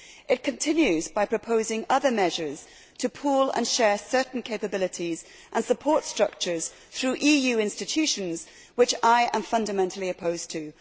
It continues by proposing other measures to pool and share certain capabilities and support structures through EU institutions, which I am fundamentally opposed to.